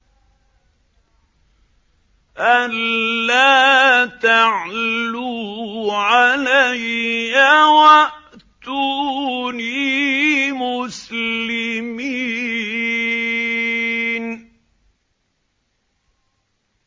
أَلَّا تَعْلُوا عَلَيَّ وَأْتُونِي مُسْلِمِينَ